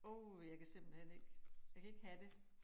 Åh jeg kan simpelthen ikke jeg kan ikke have det